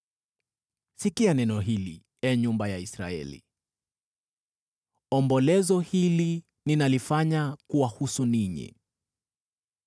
Sikia neno hili, ee nyumba ya Israeli, ombolezo hili ninalifanya kuwahusu ninyi: